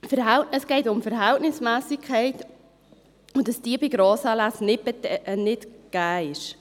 Es geht um Verhältnismässigkeit und darum, dass diese bei Grossanlässen nicht gegeben ist.